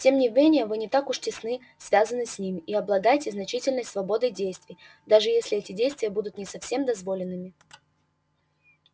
тем не менее вы уже не так тесно связаны с ними и обладаете значительной свободой действий даже если эти действия будут не совсем дозволенными